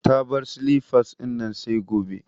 Ta bar silifas dinnan sai gobe